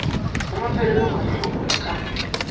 la mafelelo mahlo a ka